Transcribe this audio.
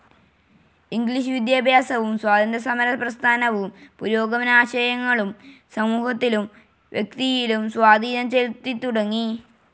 English വിദ്യാഭ്യാസവും സ്വാതന്ത്ര്യസമരപ്രസ്ഥാനവും പുരോഗമനാശയങ്ങളും സമൂഹത്തിലും വ്യക്തിയിലും സ്വാധീനം ചെലുത്തിത്തുടങ്ങി.